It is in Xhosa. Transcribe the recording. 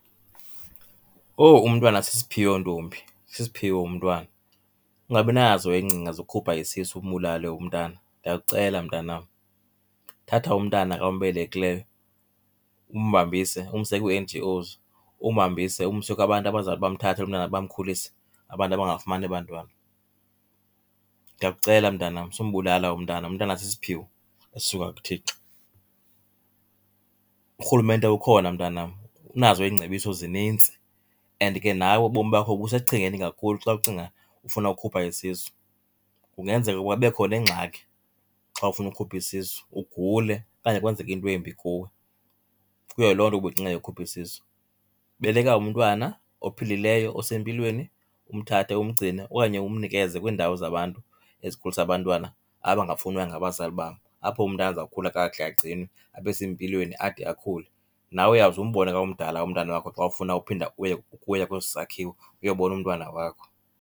Oh umntwana sisiphiwo ntombi, sisiphiwo umntwana. Ungabinazo iingcinga zokhupha isisu umbulale umntana, ndiyakucela mntanam. Thatha umntana ombelekileyo umhambise umse kwii-N_G_Os, umhambise umse kubantu abazawuthi bamthathe lo mntana bamkhulise, abantu abangafumani abantwana. Ndiyakucela mntanam, sumbulala umntana umntana sisiphiwo esisuka kuThixo. Urhulumente ukhona mntanam unazo iingcebiso zinintsi and ke nawe ubomi bakho busesichengeni kakhulu xa ucinga ufuna ukhupha isisu. Kungenzeka kube khona ingxaki xa ufuna ukhupha isisu ugule okanye kwenzeke into embi kuwe kuyo loo nto ubuyicinga yokhupha isisu. Beleka umntwana ophilileyo osempilweni, umthathe umgcine okanye umnikeze kwiindawo zabantu ezikhulisa abantwana abangafunwayo ngabazali babo, apho umntana azakukhula kakuhle agcinwe abe sempilweni ade akhule. Nawe uyawuze umbone xa umdala umntana wakho xa ufuna uphinda uye, uye kwesi sakhiwo uyobona umntwana wakho.